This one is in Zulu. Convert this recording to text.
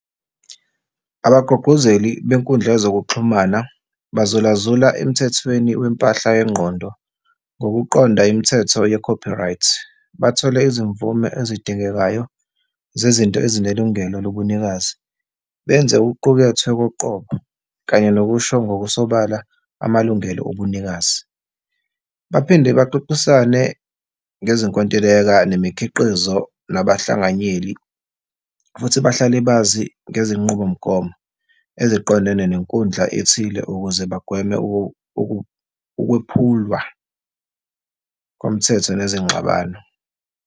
Abagqugquzeli benkundla yezokuxhumana bazulazula emthethweni wempahla yengqondo, ngokuqonda imithetho ye-copyright, bathole izimvume ezidingekayo zezinto ezinelungelo lobunikazi. Benze okuqukethwe koqobo kanye nokusho ngokusobala amalungelo obunikazi, baphinde baxoxisane ngezinkontileka nemikhiqizo nabahlanganyeli, futhi bahlale bazi ngezenqubomgomo eziqondene nenkundla ethile ukuze bagweme ukwephulwa komthetho nezingxabano.